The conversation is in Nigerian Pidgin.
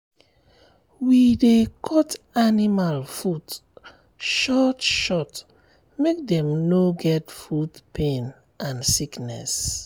we dey cut animal foot short short make dem no get foot pain and sickness.